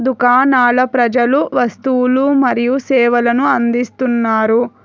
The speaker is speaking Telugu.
దుకాణాల ప్రజలు వస్తువులు మరియు సేవలను అందిస్తున్నారు.